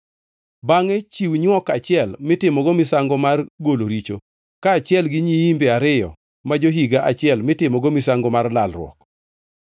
Bangʼe chiw nywok achiel mitimogo misango mar golo richo, kaachiel gi nyiimbe ariyo ma jo-higa achiel mitimogo misango mar lalruok.